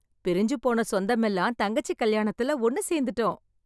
பிரிஞ்சு போன சொந்தமெல்லாம் தங்கச்சி கல்யாணத்துல ஒன்னு சேர்ந்துட்டோம்.